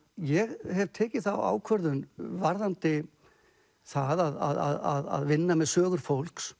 ég hef tekið þá ákvörðun varðandi það að vinna með sögur fólks